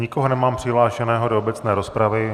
Nikoho nemám přihlášeného do obecné rozpravy.